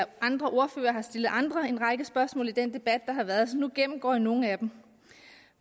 og andre ordførere har stillet andre en række spørgsmål i den debat der har været så nu gennemgår jeg nogle af dem